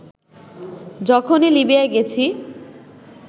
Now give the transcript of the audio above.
যখনই লিবিয়ায় গেছি